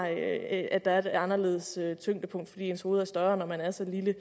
at der er et anderledes tyngdepunkt fordi ens hoved er større når man er så lille